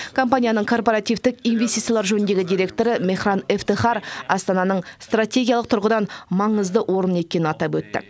компанияның корпоративтік инвестициялар жөніндегі директоры мехран эфтехар астананың стратегиялық тұрғыдан маңызды орын екенін атап өтті